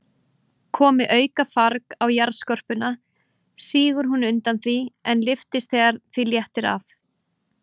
Komi aukafarg á jarðskorpuna, sígur hún undan því, en lyftist þegar því léttir af.